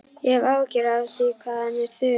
Ég hef áhyggjur af því hvað hann er þögull.